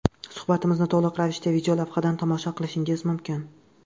Suhbatimizni to‘liq ravishda videolavhadan tomosha qilishingiz mumkin...